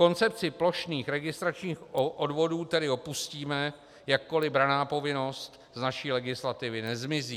Koncepci plošných registračních odvodů tedy opustíme, jakkoli branná povinnost z naší legislativy nezmizí.